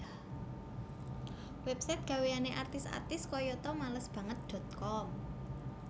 Website gaweane artis artis koyoto malesbanget com